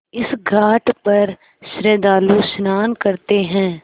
इस घाट पर श्रद्धालु स्नान करते हैं